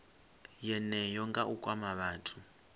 yeneyo nga u kwama vhathu